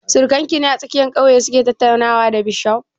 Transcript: Surakan ki ne a tsakiyar ƙauye su ke tattaunawa da bishof?